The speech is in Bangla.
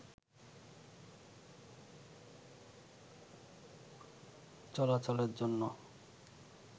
চলাচলের জন্য